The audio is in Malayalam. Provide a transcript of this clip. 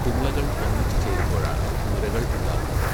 കുമിളകൾ ഒന്നിച്ചു ചേരുമ്പോഴാണ് നുരകൾ ഉണ്ടാകുന്നത്.